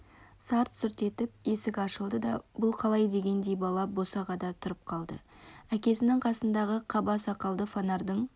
сарт-сұрт етіп есік ашылды бұл қалай дегендей бала босағада тұрып қалды әкесінің қасындағы қаба сақалды фонарьдың